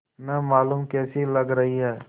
न मालूम कैसी लग रही हैं